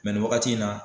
nin wagati in na